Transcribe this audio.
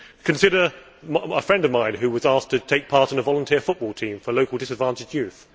Consider a friend of mine who was asked to take part in a volunteer football team for local disadvantaged youth.